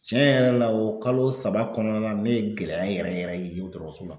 Tiɲɛ yɛrɛ la o kalo saba kɔnɔna la ne ye gɛlɛya yɛrɛ yɛrɛ ye o dɔrɔrɔso la.